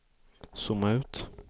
zooma ut